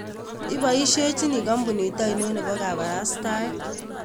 Ipoishechini kampunit ainon nepo kabaraastaeet